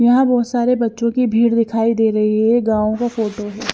यहां बहुत सारे बच्चों की भीड़ दिखाई दे रही है गांव की फोटो भी--